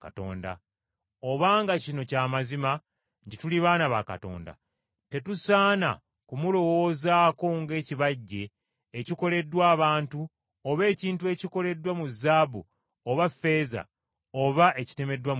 “Obanga kino kya mazima nti tuli baana ba Katonda, tetusaana kumulowoozaako ng’ekibajje ekikoleddwa abantu oba ekintu ekyoleddwa mu zaabu oba ffeeza oba ekitemeddwa mu jjinja.